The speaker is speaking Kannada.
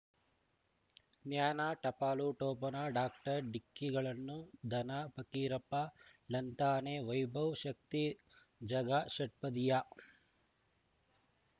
ಜ್ಞಾನ ಟಪಾಲು ಠೊಪಣ ಡಾಕ್ಟರ್ ಢಿಕ್ಕಿ ಗಳನ್ನು ಧನ ಫಕೀರಪ್ಪ ಳಂತಾನೆ ವೈಭವ್ ಶಕ್ತಿ ಝಗಾ ಷಟ್ಪದಿಯ